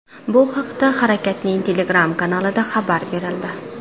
Bu haqda harakatning Telegram kanalida xabar berildi .